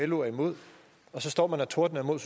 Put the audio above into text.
lo er imod og så står man og tordner imod